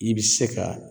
I bɛ se ka